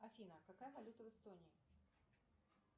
афина какая валюта в эстонии